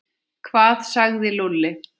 Hvað sagði Lúlli?